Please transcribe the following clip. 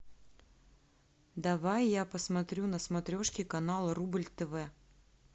давай я посмотрю на смотрешке канал рубль тв